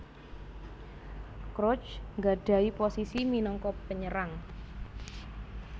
Crouch nggadhahi posisi minangka penyerang